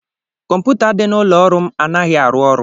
Kọmputa dị n'ụlọ ọrụ m anaghị arụ ọrụ